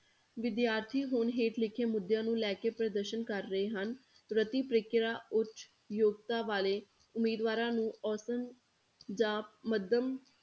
ਵਿਦਿਆਰਥੀ ਹੁਣ ਹੇਠ ਲਿਖਿਆਂ ਮੁੱਦਿਆਂ ਨੂੰ ਲੈ ਕੇ ਪ੍ਰਦਰਸ਼ਨ ਕਰ ਰਹੇ ਹਨ, ਪ੍ਰਤੀ ਪ੍ਰੀਖਿਆ ਉੱਚ ਯੋਗਤਾ ਵਾਲੇ ਉਮੀਦਵਾਰਾਂ ਨੂੰ ਅੋਸਤਨ ਜਾਂ ਮੱਧਮ